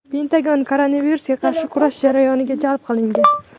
Pentagon koronavirusga qarshi kurash jarayoniga jalb qilingan .